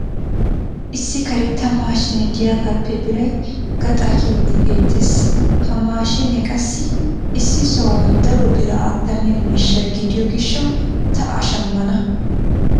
Issi karetta maashshiine diyagaappe biray gaxaa kiyiidi beetees. Ha mashshiinee qassi issi sohuwan daro biraa attamiya miishsha gidiyo gishshawu ta a shammana.